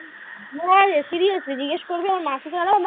হ্যাঁ seriously জিগেস করবি আমার মাকে ছাড়াও মা